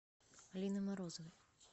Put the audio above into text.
алины морозовой